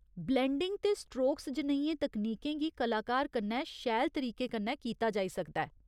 Blending ते strokes जनेहियें तकनीकें गी कलाकार कन्नै शैल तरीके कन्नै कीता जाई सकदा ऐ।